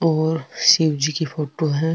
और शिव जी की फोटो है।